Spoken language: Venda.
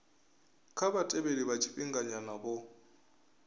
kha vhatheli vha tshifhinganyana vho